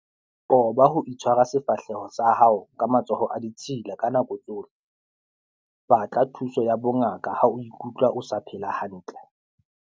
Qoba ho tshwara sefahleho sa hao ka matsoho a ditshila ka nako tsohle. Batla thuso ya bongaka ha o ikutlwa o sa phela hantle.